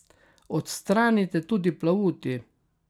Odstranite tudi plavuti.